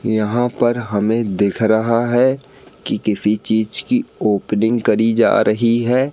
यहां पर हमें दिख रहा है कि किसी चीज की ओपनिंग करी जा रही है।